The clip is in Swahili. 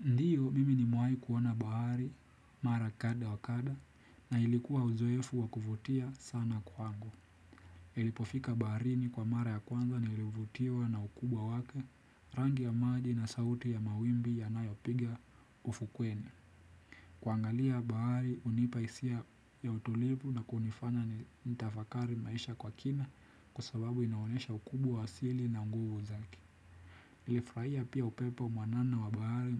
Ndio, mimi nimewai kuona bahari, mara kadha wa kadha, na ilikuwa uzoefu wa kuvutia sana kwangu. Nilipofika bahari ni kwa mara ya kwanza nilivutiwa na ukubwa wake, rangi ya maji na sauti ya mawimbi yanayopiga ufukweni. Kuangalia bahari, hunipa hisia ya utulivu na kunifanya ni nitafakari maisha kwa kina, kwa sababu inaonyesha ukubwa asili na nguvu zake. Nilifurahia pia upepo mwanana wa bahari